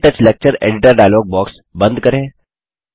क्टच lecture editor dialogue box बंद करें